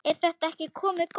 Er þetta ekki komið gott?